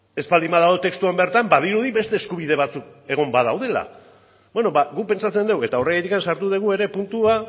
ez baldin badago testuan bertan badirudi beste eskubide batzuk egon badaudela beno ba guk pentsatzen dugu eta horregatik sartu dugu ere puntua